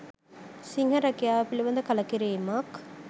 සිංහ රැකියාව පිළිබඳ කලකිරීමක්